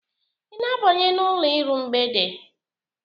Ị na-abanye n'ụlọ iru mgbede?